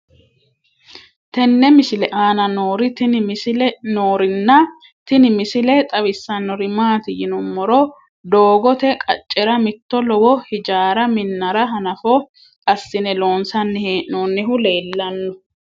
tenne misile aana noorina tini misile xawissannori maati yinummoro doogotte qaccera mitto lowo hiijjara minnara hanafo assine loonsanni hee'noonnihu leelanno.